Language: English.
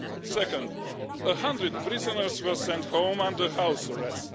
Second, 100 prisoners were sent home under house arrest.